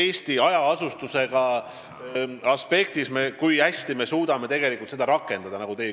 See võiks olla üks alternatiiv, teatud võimalus sealsetele inimestele.